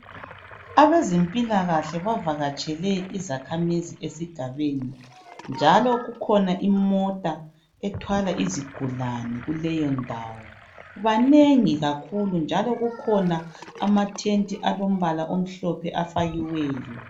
Abezempilakahle bavakatshele izakhamizi esigabeni njalo kukhona imota ethwala izigulane kuleyo ndawo banengi kakhulu njalo kukhona amathenti alompala omhlophe afakiweyo.